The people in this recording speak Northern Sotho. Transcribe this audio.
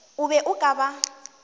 o be o ka ba